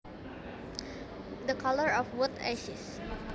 The color of wood ashes